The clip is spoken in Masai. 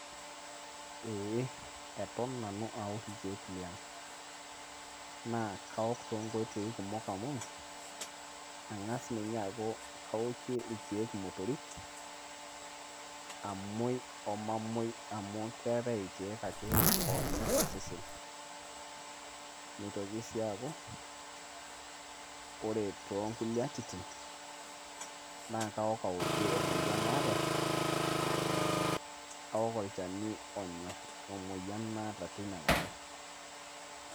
Eeeh, eton nanu aaaok irkiek liang naa kaom toonkoitoi kumok amu ang'a ninye aaku kaoki irkiek imotorik omuoi omamuoi amu keetai ake irkiek oonyor osesen neitoki sii aaku ore toonkulie atitin naakaok aokie emoyian naaata kaok olchani onyor emoyian naata tinakata.